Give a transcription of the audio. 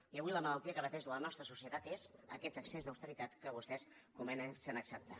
i avui la malaltia que pateix la nostra societat és aquest excés d’austeritat que vostès comencen a acceptar